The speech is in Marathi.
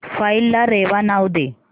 फाईल ला रेवा नाव दे